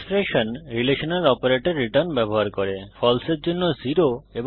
expression relational operator return ব্যবহার করে false এর জন্য 0 এবং ট্রু এর জন্য 1